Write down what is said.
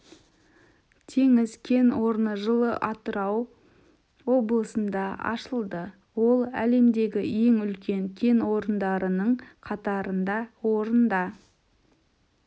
теңіз кен орны жылы атырау облысында ашылды ол әлемдегі ең үлкен кен орындарының қатарында орында